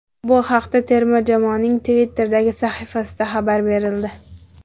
Bu haqda terma jamoaning Twitter’dagi sahifasida xabar berildi.